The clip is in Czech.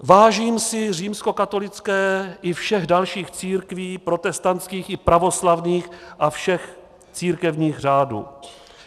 Vážím si římskokatolické i všech dalších církví protestantských i pravoslavných a všech církevních řádů.